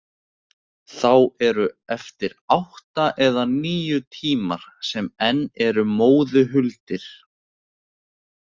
Þá eru eftir átta eða níu tímar sem enn eru móðu huldir.